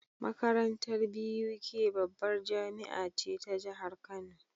Makarantar BUK babbar jamia ce ta jahar kano